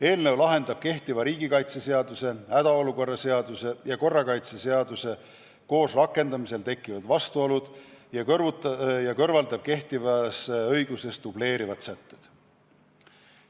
Eelnõu lahendab kehtiva riigikaitseseaduse, hädaolukorra seaduse ja korrakaitseseaduse koos rakendamisel tekkivad vastuolud ja kõrvaldab kehtivas õiguses dubleerivad sätted.